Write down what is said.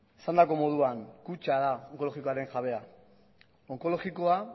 esandako moduan kutxa da onkologikoaren jabea onkologikoa